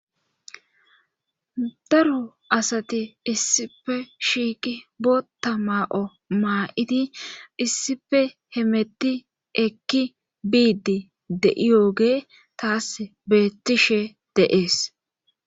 daru asati issife shiiqi bota maa7o maa7iti issife hemetti ekki biidi de7iyooge taas beettishe deees